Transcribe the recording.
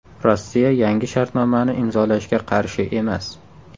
Rossiya yangi shartnomani imzolashga qarshi emas.